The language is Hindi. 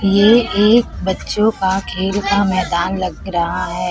ये एक बच्चों का खेल का मैदान लग रहा है।